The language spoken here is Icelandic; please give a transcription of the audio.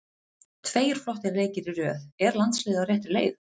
Tveir flottir leikir í röð, er landsliðið á réttri leið?